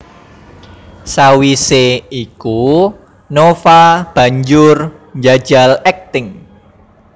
Sawisé iku Nova banjur njajal akting